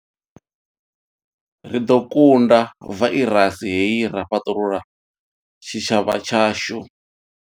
Ri ḓo kunda vairasi hei ra fhaṱulula tshitshavha tshashu.